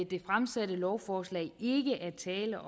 det fremsatte lovforslag ikke er tale